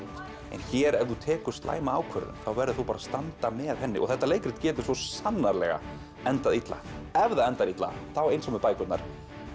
en hér ef þú tekur slæma ákvörðun þá verður þú bara að standa með henni og þetta leikrit getur svo sannarlega endað illa ef það endar illa þá eins og með bækurnar